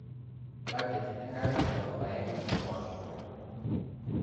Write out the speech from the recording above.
budget enkare toolpaek o mpoosho